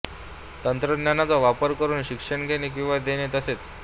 तंत्रज्ञानाचा वापर करून शिक्षण घेणे किंवा देणे तसेच